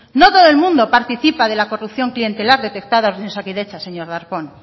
no todo el mundo participa de la corrupción clientelar detectada en osakidetza señor darpón